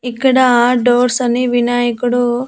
ఇక్కడ డోర్స్ అని వినాయకుడు--